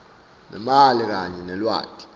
nemali kanye nelwati